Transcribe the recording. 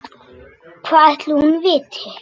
Hvað ætli hún viti?